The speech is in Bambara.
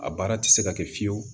A baara tɛ se ka kɛ fiye fiyewu